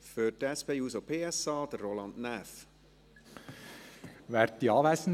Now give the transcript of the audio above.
Für die SP-JUSO-PSA-Fraktion: Roland Näf.